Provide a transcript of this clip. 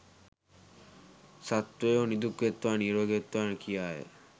සත්වයෝ නිදුක් වෙත්වා නීරෝගී වෙත්වා කියාය.